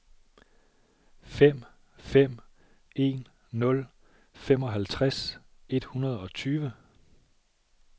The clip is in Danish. fem fem en nul femoghalvtreds et hundrede og tyve